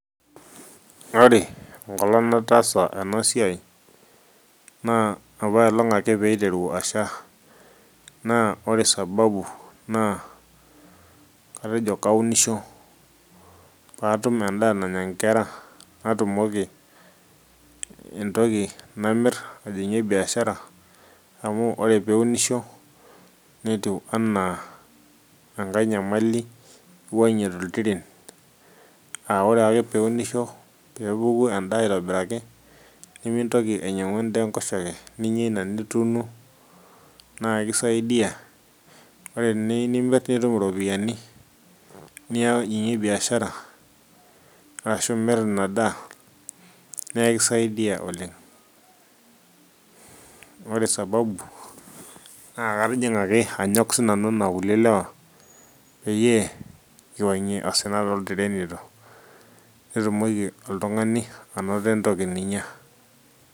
ore enkolong nataasa ena siai naa apailong ake piiteru asha naa ore sababu naa katejo kaunisho patum endaa nanya inkera natumoki entoki namirr ajing'ie biashara amu ore piunisho netiu anaa enkae nyamali iwuang'ie toltiren awore ake piunisho peepuku endaa aitobiraki nemintoki ainyiang'u endaa enkoshoke ninyia ina nituuno naa ikisaidia ore eniyu nimirr nitum iropiyiani nia nijing'ie biashara arashu imirr ina daa neekisaidia oleng ore sababu naa katijing'a ake anyok sinanu anaa kulie lewa peyie kiwuang'ie osina toltirenito nitumoki oltung'ani anoto entoki ninyia.